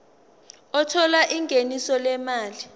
othola ingeniso lezimali